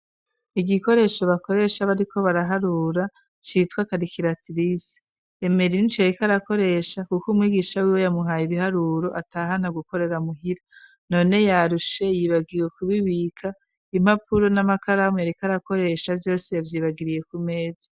Igikoresho bakoresha b ari ko baraharura cyitwa karikiratirisi emeri rinshi yarikarakoresha kuko umwigisha w'iwe yamuhaye ibiharuro atahana gukorera muhira none yarushe yibagiwe kubibika impapuro n'amakaramu yarrikarakoresha vyose yavyibagiriye ku meza.